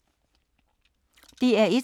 DR1